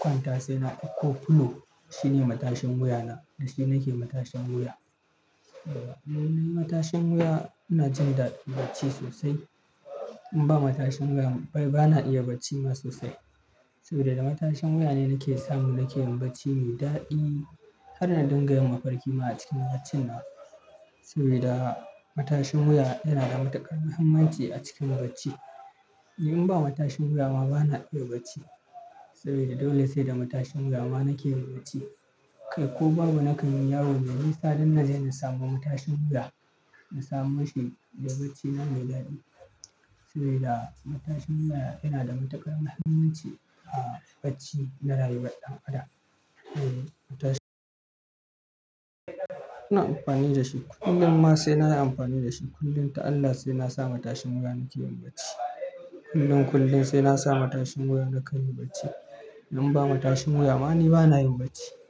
kwanta, sai na ikko fulo. Shi ne matashin wuya na, da shi nake matashin wuya. Saboda launin matashin wuya ina jin da bacci sosai. In ba matashin wuya, bana iya bacci ma sosai. Sabida da matashin wuya ne yake sa mun ke yin bacci mai daɗi har na dinga yin mafarki ma a cikin bacina. Sabida matashin wuya yana da matuƙar muhimmanci a cikin bacci. In ba matashin wuya ma bana iya bacci. Sabida dole sai da matashin wuya ma nake yin bacci. Kai ko babu, na kai min yawo me nisa, danna je na samo matashin wuya. Na samo shi da bacina me daɗi. Sabida matashin wuya yana da matuƙar muhimmanci a bacci na rayuwar ɗan adam. Eh, matashin-- ina amfani da shi. Kullum ma sai na yi amfani da shi. Kullum ta Allah sai na sa matashin wuya nake yin bacci. Kullum, kullum sai na sa matashin wuya na kai yin bacci. In ba matashin wuya ma ni bana yin bacci.